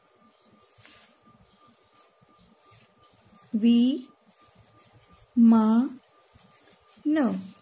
વિમાન